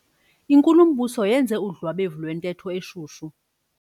Inkulumbuso yenze udlwabevu lwentetho eshushu.